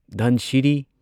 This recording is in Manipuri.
ꯙꯟꯁꯤꯔꯤ